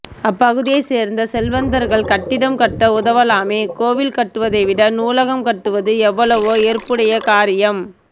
அப்பகுதியை சேர்ந்த செல்வந்தர்கள் கட்டிடம் கட்ட உதவலாமே கோவில் கட்டுவதைவிட நூலகம் கட்டுவது எவ்வளவோ ஏற்புடைய காரியம்